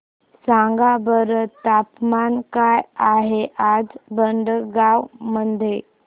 सांगा बरं तापमान काय आहे आज भडगांव मध्ये